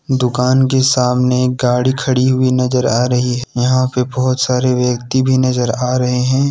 दुकान के सामने एक गाड़ी खड़ी हुई नजर आ रही है। यहां पे बहुत सारे व्यक्ति भी नजर आ रहे हैं।